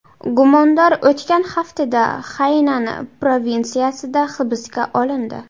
Gumondor o‘tgan haftada Xaynan provinsiyasida hibsga olindi.